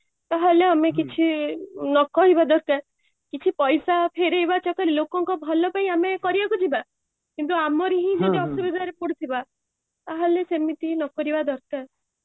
ତାହେଲେ ଆମେ କିଛି ନ କହିବା ଦରକାର କିଛି ପଇସା ଫେରେଇବା ଚକର ରେ ଲୋକଙ୍କ ଭଲ ପାଇଁ ଆମେ କରିବାକୁ ଯିବା କିନ୍ତୁ ଆମର ହିଁ ଯଦି ଅସୁବିଧା ରେ ପଡୁଥିବା ତା ହେଲେ ସେମିତି ନ କରିବା ଦରକାର